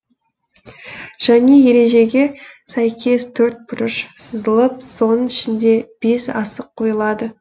және ережеге сәйкес төртбұрыш сызылып соның ішінде бес асық қойылады